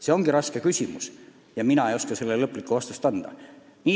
See ongi raske küsimus ja mina ei oska sellele lõplikku vastust anda.